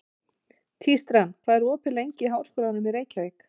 Tístran, hvað er opið lengi í Háskólanum í Reykjavík?